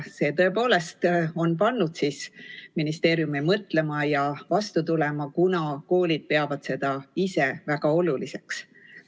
See tõepoolest on pannud ministeeriumi mõtlema ja vastu tulema, kuna koolid peavad seda väga oluliseks.